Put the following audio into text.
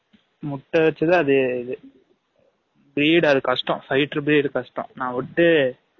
முட்டை வச்சு தான் அது இது breed அது கஷ்டம் fighter breed கஷ்டம் நா வுட்டு